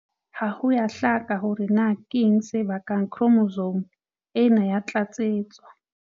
Ha ho a hlaka hore na keng se bakang khromosome ena ya tlatsetso.